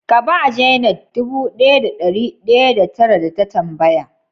Ka ba "janet" dubu daya da dari daya da tara da ta tambaya?